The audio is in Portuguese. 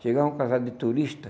Chegava um casal de turistas.